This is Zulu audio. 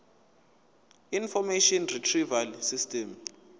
information retrieval system